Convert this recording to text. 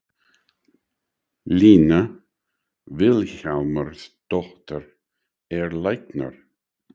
Lína Vilhjálmsdóttir er læknir.